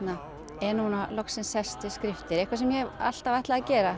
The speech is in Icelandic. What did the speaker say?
er núna loksins sest við skriftir eitthvað sem ég hef alltaf ætlað að gera